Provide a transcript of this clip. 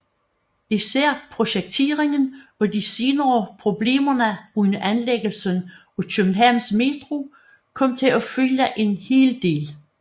Især projekteringen og de senere problemer under anlæggelsen af Københavns Metro kom til at fylde en hel del